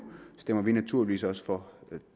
stemmer vi naturligvis også for